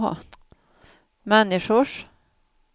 människors